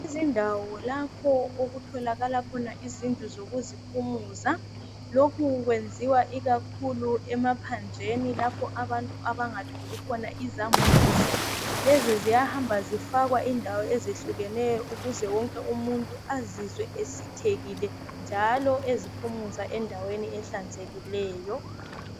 Izindawo lapho okutholakala khona izindlu zokuziphumuza, lokhu kwenziwa kakhulu emaphandleni lapho abantu abangatholi khona izambuzi. Lezi ziyahamba zifakwa indawo ezehlukeneyo ukuze umuntu wonke azizwe esithekile njalo eziphumuza enaweni ehlanzekileyo.